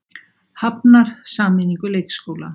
Hafnar sameiningu leikskóla